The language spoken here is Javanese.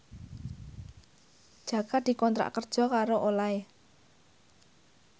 Jaka dikontrak kerja karo Olay